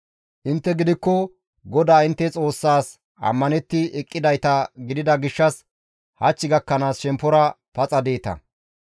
Intte gidikko GODAA intte Xoossaas ammanetti eqqidayta gidida gishshas hach gakkanaas shemppora paxa deeta.